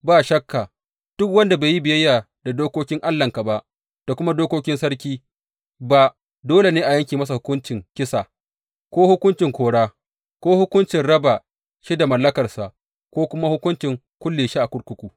Ba shakka duk wanda bai yi biyayya da dokokin Allahnka ba, da kuma dokokin sarki ba dole a yanke masa hukuncin kisa, ko hukuncin kora, ko hukuncin raba shi da mallakarsa, ko kuma hukuncin kulle shi a kurkuku.